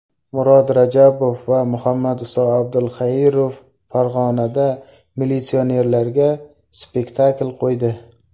Murod Rajabov va Muhammadiso Abdulxairov Farg‘onada militsionerlarga spektakl qo‘ydi.